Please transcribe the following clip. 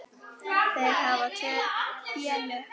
Þeir hafa tvö félög.